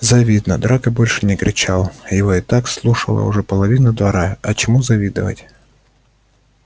завидно драко больше не кричал его и так слушала уже половина двора а чему завидовать